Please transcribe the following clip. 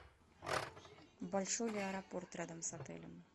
большой ли аэропорт рядом с отелем